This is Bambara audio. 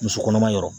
Muso kɔnɔma yɔrɔ